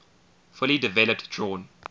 fully developed drawn